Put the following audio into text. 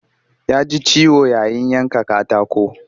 Ya ji ciwo yayin yanka katako